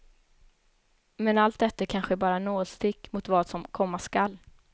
Men allt detta är kanske bara nålstick mot vad som komma skall.